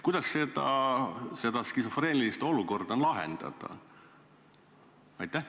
Kuidas seda skisofreenilist olukorda lahendada?